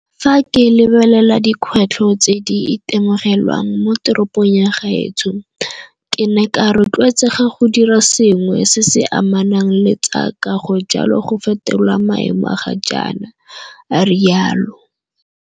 Fa ke lebelela dikgwetlho tse di itemogelwang mo teropong ya gaetsho, ke ne ka rotloetsega go dira sengwe se se amanang le tsa kago jalo go fetola maemo a ga jaana, a rialo.